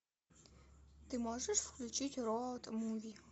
ты можешь включить роуд муви